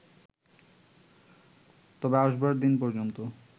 তবে আসবার দিন পর্যন্ত